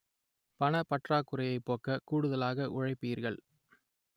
பணப்பற்றாக்குறையை போக்க கூடுதலாக உழைப்பீர்கள்